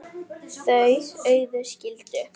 Þau Auður skildu.